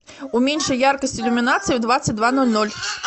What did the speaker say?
уменьши яркость иллюминации в двадцать два ноль ноль